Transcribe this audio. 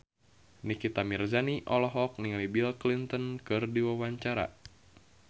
Nikita Mirzani olohok ningali Bill Clinton keur diwawancara